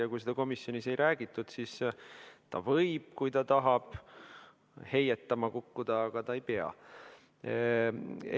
Ja kui seda komisjonis ei räägitud, siis ta võib, kui ta tahab, heietama kukkuda, aga ta ei pea seda tegema.